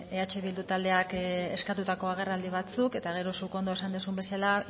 eh bildu taldeak eskatutako agerraldi batzuk eta gero zuk ondo esan duzun bezala